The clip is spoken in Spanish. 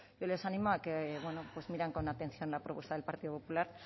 yo les animo a que miren con atención la propuesta del partido popular